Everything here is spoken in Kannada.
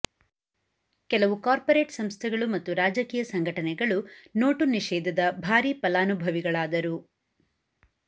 ಕೆಲವು ಕಾರ್ಪೊರೇಟ್ ಸಂಸ್ಥೆಗಳು ಮತ್ತು ರಾಜಕೀಯ ಸಂಘಟನೆಗಳು ನೋಟು ನಿಷೇಧದ ಭಾರೀ ಫಲಾನುಭವಿಗಳಾದರು